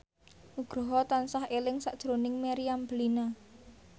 Nugroho tansah eling sakjroning Meriam Bellina